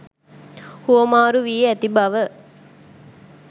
හුවමාරු වී ඇති බව